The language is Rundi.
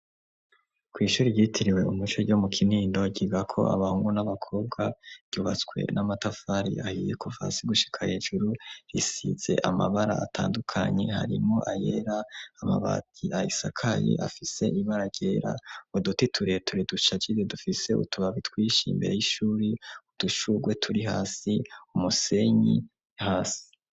Kw' ishuri ryitiriwe umuco ryo mu kinindo ryigako abahungu n'abakobwa, ryubatswe n'amatafari ahiye ,kuva hasi gushika hejuru risize amabara atandukanye harimwo ayera ,amabati ayisakaye afise ibara ryera, uduti tureture dushajije dufise utubabi twinshi imbere y'ishuri, udushugwe turi hasi ,umusenyi hasi.